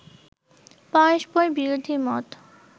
পরস্পর বিরোধী মত